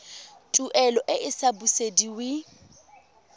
tuelo e e sa busediweng